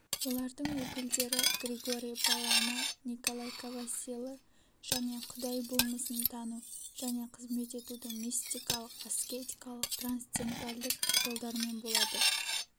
олардың өкілдері григорий паламы николай ковасилы және құдай болмысын тану және қызмет етуді мистикалық аскетикалық трансцендентальдік жолдармен болады